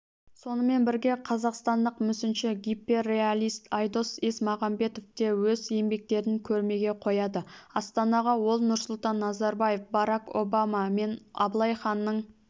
сонымен бірге қазақстандық мүсінші гиперреалист айдос есмағамбетов те өз еңбектерін көрмеге қояды астанаға ол нұрсұлтан назарбаев барак обама мен абылай ханның